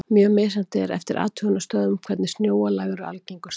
Mjög er misjafnt eftir athugunarstöðvum hvernig snjóalög eru algengust.